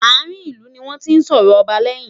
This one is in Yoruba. àrin ilu ní wọn tí sòrò ọba leyin